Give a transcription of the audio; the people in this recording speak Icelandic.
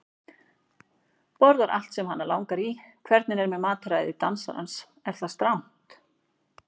Borðar allt sem hana langar í Hvernig er með mataræði dansarans, er það strangt?